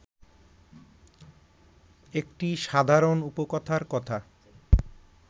একটি সাধারণ উপকথার কথা